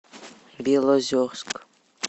белозерск